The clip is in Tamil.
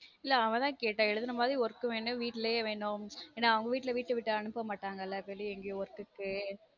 இல்ல அவ தான் கேட்டா எழுதுற மாதிரி work வேணும் வீட்லயே வேணும் ஏன்னா அவங்க வீட்ல வீட்ட விட்டு அனுப்ப மாட்டாங்களா வெளிய எங்கயும் work க்கு